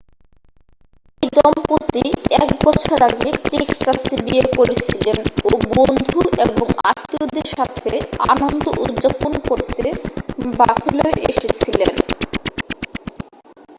এই দম্পতি এক বছর আগে টেক্সাসে বিয়ে করেছিলেন ও বন্ধু এবং আত্মীয়দের সাথে আনন্দ উদযাপন করতে বাফেলোয় এসেছিলেন